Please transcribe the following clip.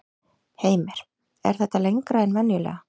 Heimir: Er þetta lengra en venjulega?